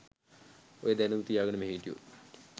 ඔය දැනුම තියාගෙන මෙහෙ හිටියොත්